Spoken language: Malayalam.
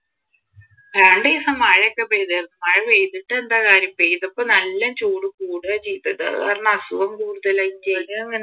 രണ്ടു ദിവസം മഴ ഒക്കെ പെയ്തിരുന്നു മഴ പെയ്തിട്ടെന്താ കാര്യം പെയ്തപ്പൊ നല്ല ചൂട് കൂടുവാ ചെയ്തത് അതുകാരണം അസുഖം കൂടുതലായിട്ടേ